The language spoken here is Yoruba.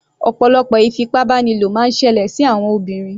Ọ̀pọ̀lọpọ̀ ìfipábánilò máa ń ṣẹlẹ̀ sí àwọn obìnrin.